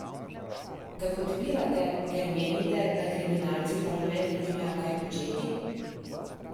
Ga podpirate, ker menite, da kriminalci v parlamentu nimajo kaj početi?